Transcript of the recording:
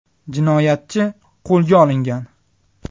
Jinoyatchi qo‘lga olingan.